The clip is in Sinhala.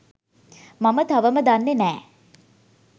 මම තවම දන්නේ නෑ